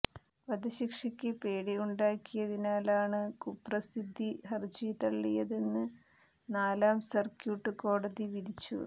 വധശിക്ഷയ്ക്ക് പേടി ഉണ്ടാക്കിയതിനാലാണ് കുപ്രസിദ്ധി ഹർജി തള്ളിയതെന്ന് നാലാം സർക്യൂട്ട് കോടതി വിധിച്ചു